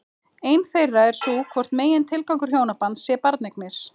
Ein þeirra er sú hvort megintilgangur hjónabands sé barneignir?